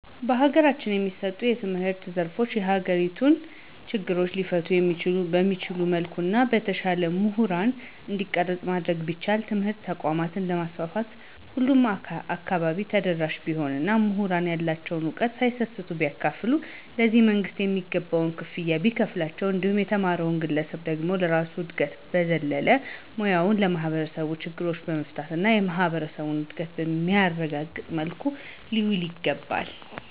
በሀገራችን የሚሰጡ የትምህርት ዘርፎች የሀገሪቱን ችግሮች ሊፈቱ በሚችል መልኩ እና በተሻለ ሙሁራን እንዲቀረጽ ማድረግ ቢቻል. ትምህርት ተቋማትን በማስፋፋት ሁሉም አካባቢ ተደራሽ ቢሆን እና ሙሁራንም ያላቸዉን ዕውቀት ሳይሰስቱ ቢያካፉሉ ,ለዚህም መንግስትም የሚገባቸውን ክፍያ ቢከፍላቸው እንዲሁም የተማረዉ ግለሰብ ደግሞ ከራሱ እድገት በዘለለ ሙያዉን የማህበረሰብ ችግሮችን በመፍታት እና የማህበረሰቡን እድገት በሚያረጋግጥ መልኩ ሊያዉለዉ ይገባል።